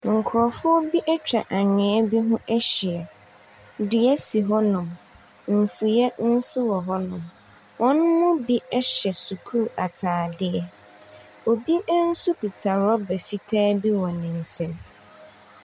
Nkurɔfoɔ bi atwa anwea bi ho ahyia. Dua si hɔnom, mfuiɛ nso wɔ hɔnom. Wɔn mu bi hyɛ sukuu ataadeɛ. Obi nso kuta rɔba fitaa bi wɔ ne nsam.